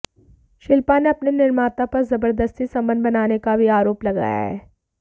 शिल्पा ने अपने निर्माता पर जबरदस्ती संबंध बनाने का भी भी आरोप लगाया है